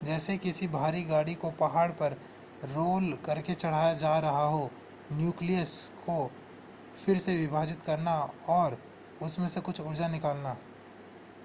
जैसे किसी भारी गाड़ी को पहाड़ पर रोल करके चढ़ाया जा रहा हो न्यूक्लियस को फिर से विभाजित करना और उसमें से कुछ ऊर्जा निकालना